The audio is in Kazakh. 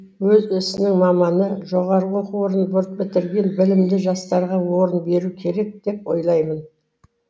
өз ісінің маманы жоғарғы оқу орнын бітірген білімді жастарға орын беру керек деп ойлаймын